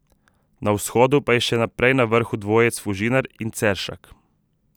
Na vzhodu pa je še naprej na vrhu dvojec Fužinar in Ceršak.